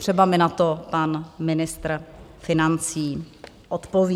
Třeba mi na to pan ministr financí odpoví.